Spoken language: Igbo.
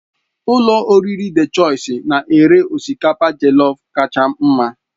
Ụlọ oriri Dị Chọisi na-ere osikapa jelọf kacha mma.